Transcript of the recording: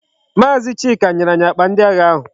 Maazi Chika nyere anyi akpa ndi agha ahu